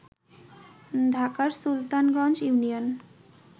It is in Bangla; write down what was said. ঢাকার সুলতানগঞ্জ ইউনিয়ন